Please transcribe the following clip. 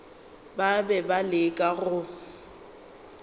ba be ba leka go